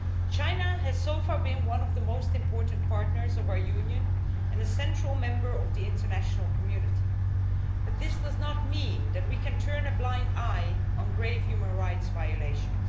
China has so far been one of the most important partners of our Union and a central member of the international community, but this does not mean that we can turn a blind eye to grave human rights violations.